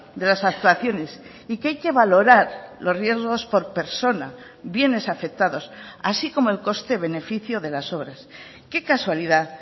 de las actuaciones y que hay que valorar los riesgos por persona bienes afectados así como el coste beneficio de las obras qué casualidad